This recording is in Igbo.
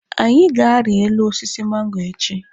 Anyị ga-ari elu osisi mango echi.